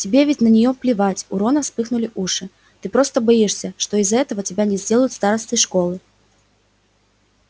тебе ведь на неё плевать у рона вспыхнули уши ты просто боишься что из-за этого тебя не сделают старостой школы